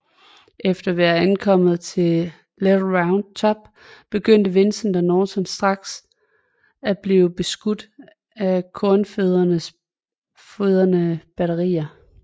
Efter at være ankommet til Little Round Top begyndte Vincent og Norton næsten straks at blive beskudt af Konfødererede batterier